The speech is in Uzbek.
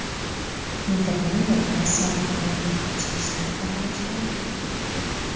Niderlandiya Rossiyani qirollik ichki ishlariga aralashishda aybladi.